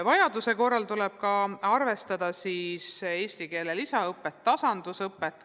Vajaduse korral tuleb ka arvestada eesti keele lisaõppe ja tasandusõppega.